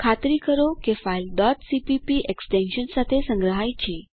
ખાતરી કરો કરો કે ફાઇલ cpp એક્સ્ટેંશન સાથે સંગ્રહાય છે